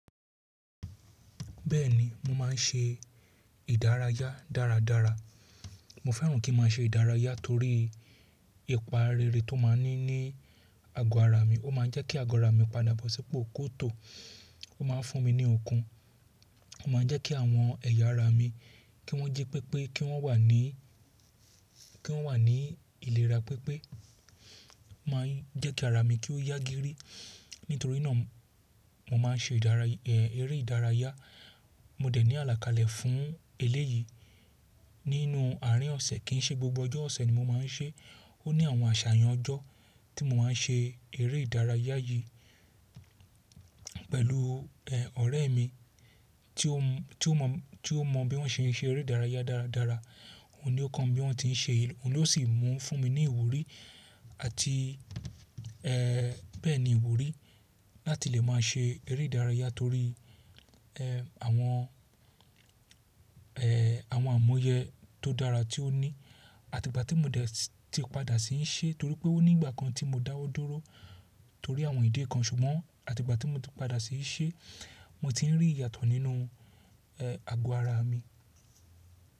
Bẹ́ẹ̀ni, mo máa ń ṣe ìdárayá dáradára. Mo fẹ́ràn kí maa ṣe ìdárayá torí ìpa rere tó máa ń ní ní ago ara mi. Ó máa ń jẹ́ kí ago ara mi padà bọ́ sípò kó tó. Ó máa ń fún mi ní okun. Ó máa ń jẹ́ kí àwọn ẹ̀yà ara mi, kí wọ́n ji pépé kí wọ́n wà ní, kí wọ́n wà ní ìlera pipé. Ó máa ń jẹ́ kí ara mi kí ó yágírí. Nítorí náà mo máa ń ṣe ìdárayá, ère ìdárayá. Mo dẹ̀ ní àlàkalẹ̀ fún eléyìí nínú àárín ọ̀sẹ̀ kí i ṣe gbogbo ọjọ́ ọ̀sẹ̀ ni mo máa ń ṣe. Ó ní àwọn àṣàyàn ọjọ́ tí mo máa ń ṣe eré ìdárayá yìí pẹ̀lú, ẹ, ọ̀rẹ́ mi tí ó mọ, tí ó mọ bí wọ́n ṣe ń ṣe eré ìdárayá dáradára. Òun ni ó kọ́ mi bí wọ́n ti ń ṣe. Òun ló sì mú fún mi ní ìwúrí àti, ẹ, bẹ́ẹ̀ni ìwúrí láti lè máa ṣe eré ìdárayá torí, ẹ, àwọn, ẹ, àwọn àmúyẹ tó dára tí ó ní. Àti ìgbà tí mo dẹ̀ ti padà sí í ṣe torí pé ó ní ìgbà kan tí mo dáwọ́ dúró torí àwọn ìdí kan ṣùgbọ́n àti ìgbà tí mo ti padà sí í ṣe mo ti ń rí ìyàtọ̀ nínú, ẹ, ago ara mi.